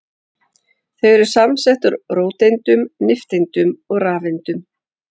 Þau eru samsett úr róteindum, nifteindum og rafeindum.